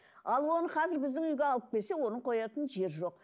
ал оны қазір біздің үйге алып келсе оны қоятын жер жоқ